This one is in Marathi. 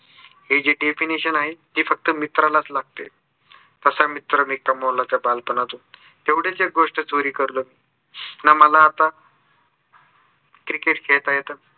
हे जे definition आहे फक्त मित्रालाच लागते. तसा मित्र मी कामावला त्या बालपणातून तेवढेच एक गोस्ट चोरी करून ना मला आता cricket खेळता येतं